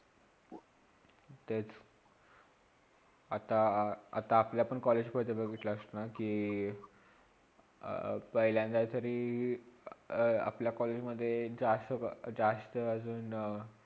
तेच आता आता आपल्या पण college मधे बघितलास ना कि अ अं पाहिलंदयातरी अ अ अपल्या college मधे जास्त जास्त ते अजून